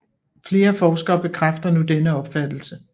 Flere forskere bekræfter nu denne opfattelse